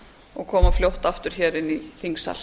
og koma fljótt aftur hér inn í þingsal